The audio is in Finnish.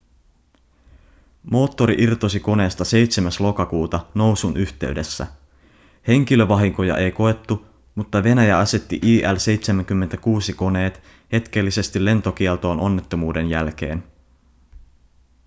moottori irtosi koneesta 7. lokakuuta nousun yhteydessä. henkilövahinkoja ei koettu mutta venäjä asetti il-76-koneet hetkellisesti lentokieltoon onnettomuuden jälkeen